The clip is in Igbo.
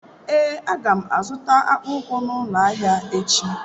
Ee a ga m azụta akpụkpọ ụkwụ n'ụlọ ahịa echi.